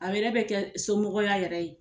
A yɛrɛ bɛ kɛ somɔgɔya yɛrɛ ye